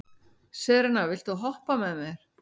Serena, viltu hoppa með mér?